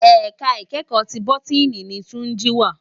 Èká ikèékò ti bótìní ni Tunji wá